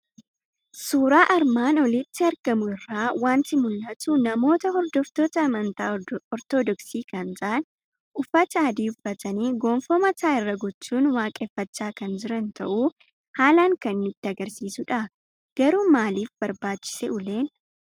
Suuraa armaan olitti argamu irraa waanti mul'atu; namoota hordoftoota amantaa ortoodoksii kan ta'an uffata adii uffatanii gonfoo mataa irra gochuun waaqeeffachaa kan jiran ta'uu haalan kan nutti agarsiisudha. Garuu maalif brbaachisee uleen?